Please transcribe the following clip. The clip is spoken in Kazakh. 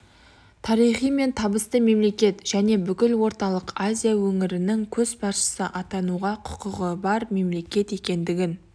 тарихы мен табысты мемлекет және бүкіл орталық азия өңірінің көшбасшысы атануға құқығы бар мемлекет екендігін